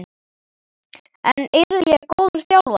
En yrði ég góður þjálfari?